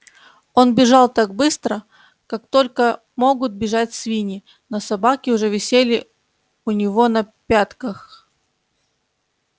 он бежал так быстро как только могут бежать свиньи но собаки уже висели у него на пятках